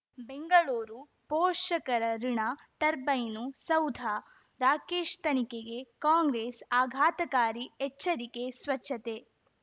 ಬೆಂಗಳೂರು ಪೋಷಕರಋಣ ಟರ್ಬೈನು ಸೌಧ ರಾಕೇಶ್ ತನಿಖೆಗೆ ಕಾಂಗ್ರೆಸ್ ಆಘಾತಕಾರಿ ಎಚ್ಚರಿಕೆ ಸ್ವಚ್ಛತೆ